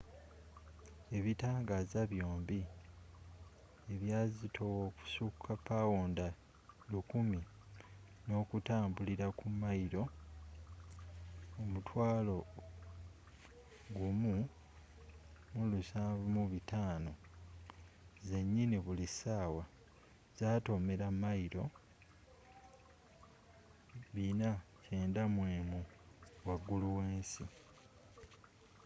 ebitangaaza byombi ebyazitowa okussuka pawunda 1,000 nokutambulira ku mayilo ,17500 zenyini buli ssaawa zatomera mayilo 491 waggulu w'ensi